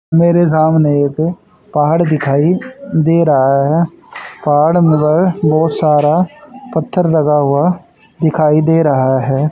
मेरे सामने एक पहाड़ दिखाई दे रहा हैं पहाड़ मगर बहोत सारा पत्थर लगा हुआ दिखाई दे रहा हैं।